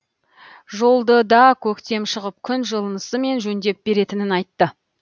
жолды да көктем шығып күн жылынысымен жөндеп беретінін айтты